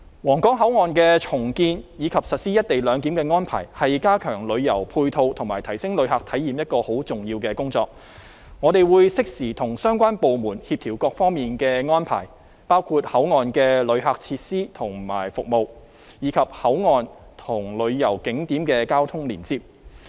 皇崗口岸的重建，以及實施"一地兩檢"的安排，是加強旅遊配套和提升旅客體驗一項很重要的工作，我們會適時跟相關部門協調各方面的安排，包括口岸的旅客設施和服務，以及口岸和旅遊景點的交通連接。